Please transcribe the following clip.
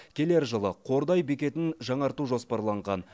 келер жылы қордай бекетін жаңарту жоспарланған